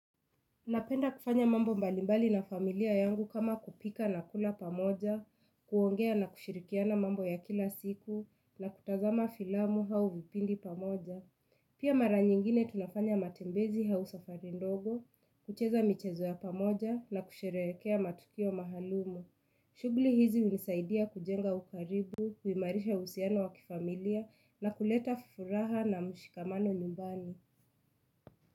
Napenda kufanya mambo mbalimbali na familia yangu kama kupika na kula pamoja, kuongea na kushirikiana mambo ya kila siku na kutazama filamu au vipindi pamoja. Pia mara nyingine tunafanya matembezi au safari ndogo, kucheza michezo ya pamoja na kusherekea matukio maalumu. Shughuli hizi hunisaidia kujenga ukaribu, huimarisha uhusiano wa kifamilia na kuleta furaha na mshikamano nyumbani.